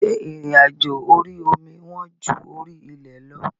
Ǹjẹ́ ìrìn àjò orí omi wọ́n ju orí ilẹ̀ lọ?